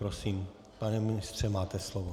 Prosím, pane ministře, máte slovo.